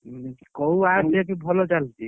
କୋଉ watch ଯେ କି ଭଲ ଚାଲୁଛି?